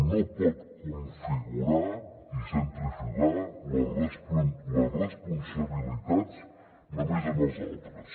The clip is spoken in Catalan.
no pot configurar i centrifugar les responsabilitats només en els altres